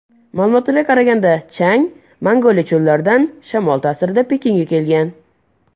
Ma’lumotlarga qaraganda chang Mongoliya cho‘llaridan shamol ta’sirida Pekinga kelgan.